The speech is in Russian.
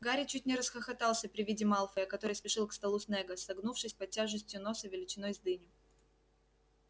гарри чуть не расхохотался при виде малфоя который спешил к столу снегга согнувшись под тяжестью носа величиной с дыню